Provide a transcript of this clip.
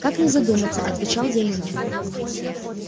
как не задуматься отвечал я ему